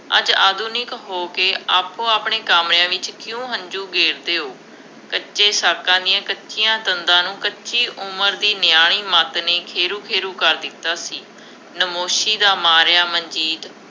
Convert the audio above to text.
ਅੱਜ ਆਧੁਨਿਕ ਹੋ ਕੇ, ਆਪੋ ਆਪਣਿਆ ਕਾਮਿਆਂ ਵਿੱਚ ਕਿਉਂ ਹੰਝੂ ਗੇਰਦੇ ਹੋ, ਕੱਚੇ ਸਾਕਾਂ ਦੀਆਂ ਕੱਚੀਆ ਤੰਦਾਂ ਨੂੰ ਕੱਚੀ ਉਮਰ ਦੀ ਨਿਆਣੀ ਮੱਤ ਨੇ ਖੇਰੂੰ ਖੇਰੂੰ ਕਰ ਦਿੱਤਾ ਸੀ। ਨਾਮੋਸ਼ੀ ਦਾ ਮਾਰਿਆ ਮਨਜੀਤ